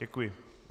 Děkuji.